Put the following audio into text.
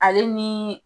Ale ni